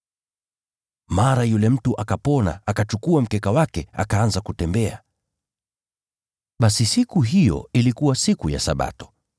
Mara yule mtu akapona, akachukua mkeka wake, akaanza kutembea. Basi siku hiyo ilikuwa siku ya Sabato.